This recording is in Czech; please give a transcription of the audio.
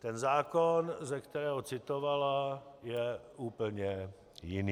Ten zákon, ze kterého citovala, je úplně jiný.